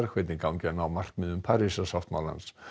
hvernig gangi að ná markmiðum Parísarsáttmálans